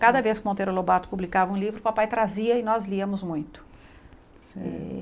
Cada vez que o Monteiro Lobato publicava um livro, o papai trazia e nós liamos muito.